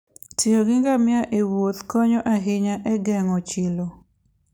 tiyo gi ngamia ewuoth konyo ahinya e geng'o chilo.